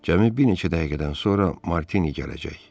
Cəmi bir neçə dəqiqədən sonra Martini gələcək.